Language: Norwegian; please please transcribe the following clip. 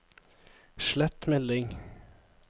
slett melding